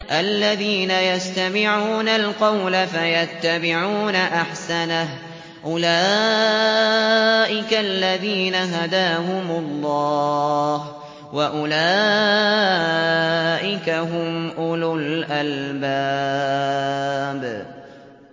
الَّذِينَ يَسْتَمِعُونَ الْقَوْلَ فَيَتَّبِعُونَ أَحْسَنَهُ ۚ أُولَٰئِكَ الَّذِينَ هَدَاهُمُ اللَّهُ ۖ وَأُولَٰئِكَ هُمْ أُولُو الْأَلْبَابِ